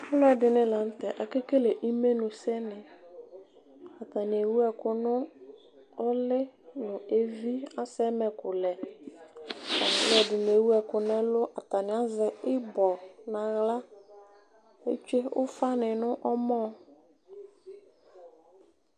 Alʋ ɛdini lanʋ tɛ akekele imenʋsɛ ni atani ewʋ ɛkʋ nʋ ʋli nʋ evi asɛ ɛmɛkʋlɛ alʋɛdini ewʋ ɛkʋ nʋ ɛlʋ atani azɛ ibɔ nʋ aɣla etsue ufa ni nʋ ɔmɔ